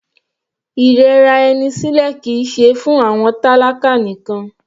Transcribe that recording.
Ìrẹra ẹni sílẹ̀ kìí ṣe fún àwọn tálákà nìkan.